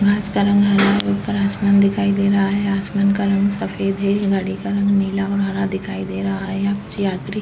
घास का रंग हरा है। ऊपर आसमान दिखाई दे रहा है। आसमान का रंग सफेद है। गाड़ी का रंग नीला और हरा दिखाई दे रहा है। यहाँ कुछ यात्री --